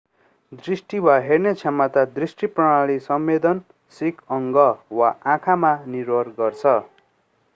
दृष्टि वा हेर्ने क्षमता दृश्य प्रणाली संवेदनशिक अङ्ग वा आँखामा निर्भर गर्छ